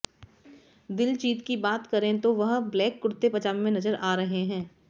दिलजीत की बात करें तो वह ब्लैक कुर्ते पजामे में नजर आ रहे हैं